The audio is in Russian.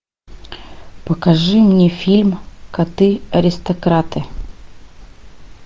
покажи мне фильм коты аристократы